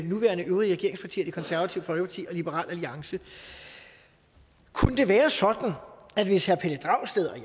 nuværende øvrige regeringspartier det konservative folkeparti og liberal alliance kunne det være sådan hvis herre pelle dragsted